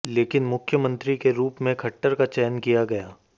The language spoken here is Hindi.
लेकिन मुख्यमंत्री के रूप में खट्टर का चयन किया गया